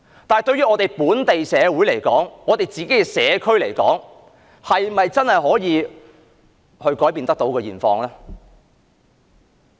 但是，對於本地社會，對我們的社區來說，是否真的可以改變現況？